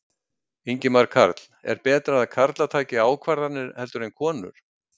Ingimar Karl: Er betra að karlar taki ákvarðanir heldur en konur?